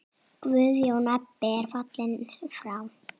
Guðjón Ebbi er fallinn frá.